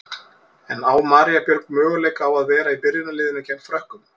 En á María Björg möguleika á að vera í byrjunarliðinu gegn Frökkum?